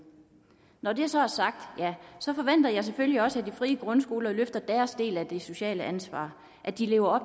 når det så er sagt forventer jeg selvfølgelig også at de frie grundskoler løfter deres del af det sociale ansvar at de lever